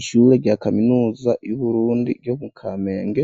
Ishure rya kaminuza y'uburundi ryo mu kamenge